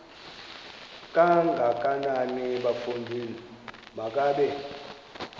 kangakanana bafondini makabe